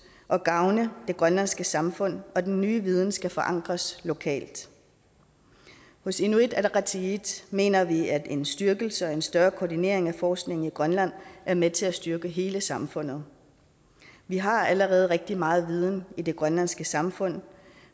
og gavne det grønlandske samfund og den nye viden skal forankres lokalt hos inuit ataqatigiit mener vi at en styrkelse og en større koordinering af forskningen i grønland er med til at styrke hele samfundet vi har allerede rigtig meget viden i det grønlandske samfund